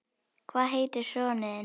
Hvað heitir sonur þinn?